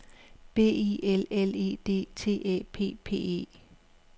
B I L L E D T Æ P P E